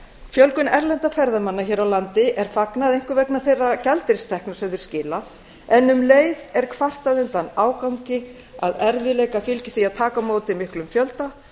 fjölgun erlendra ferðamanna hér á landi er fagnað einkum vegna þeirra gjaldeyristekna sem þeir skila en um leið er kvartað undan ágangi að erfiðleikar fylgi því að taka á móti miklum fjölda